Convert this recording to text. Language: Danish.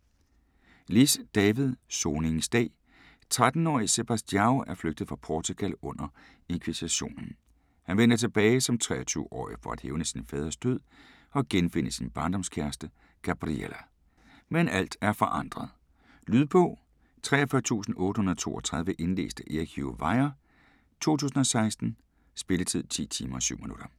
Liss, David: Soningens dag 13 årige Sebastião er flygtet fra Portugal under inkvisitionen. Han vender tilbage som 23 årig for at hævne sin faders død og genfinde sin barndomskæreste, Gabriela. Men alt er forandret. Lydbog 43832 Indlæst af Erik Hugh Weir, 2016. Spilletid: 10 timer, 7 minutter.